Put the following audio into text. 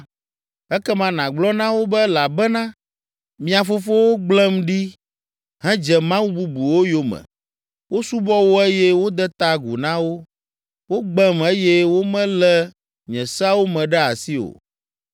ekema nàgblɔ na wo be elabena mia fofowo gblẽm ɖi hedze mawu bubuwo yome; wosubɔ wo eye wode ta agu na wo. Wogbem eye womelé nye seawo me ɖe asi o.